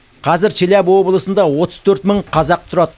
қазір челябі облысында отыз төрт мың қазақ тұрады